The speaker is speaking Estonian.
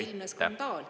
Üleilmne skandaal.